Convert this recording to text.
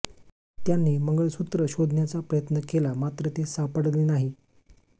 त्यांनी मंगळसुत्र शोधण्याचा प्रयत्न केला मात्र ते सापडले नाही